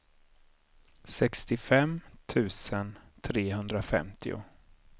sextiofem tusen trehundrafemtio